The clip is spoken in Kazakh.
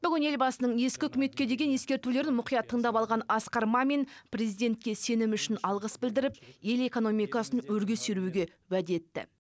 бүгін елбасының ескі үкіметке деген ескертулерін мұқият тыңдап алған асқар мамин президентке сенімі үшін алғыс білдіріп ел экономикасын өрге сүйреуге уәде етті